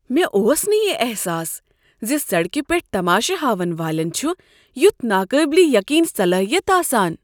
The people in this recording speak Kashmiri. مےٚ اوس نہٕ یِہ احساس ز سڑکہ پیٹھ تماشہِ ہاون والین چھُ یُتھ ناقابلِ یقین صلاحیت آسان۔